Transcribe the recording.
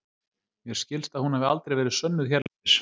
mér skilst að hún hafi aldrei verið sönnuð hérlendis